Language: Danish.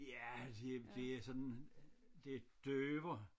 Ja det det er sådan det døver